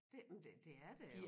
Det men det er der jo